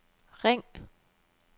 ring